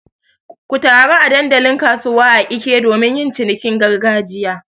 Ku taru a dandalin kasuwa a Eke domin yin cinikin gargajiya.